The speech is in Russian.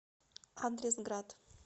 адрес град